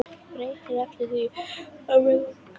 Sem breytir ekki því að mig langar í það.